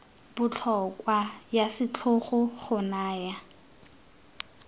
botlhokwa ya setlhogo go naya